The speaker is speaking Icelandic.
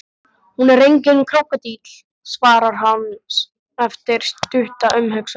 Hún er enginn krókódíll, svarar hann eftir stutta umhugsun.